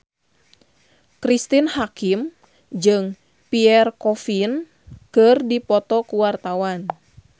Cristine Hakim jeung Pierre Coffin keur dipoto ku wartawan